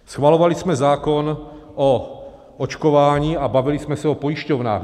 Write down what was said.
Schvalovali jsme zákon o očkování a bavili jsme se o pojišťovnách.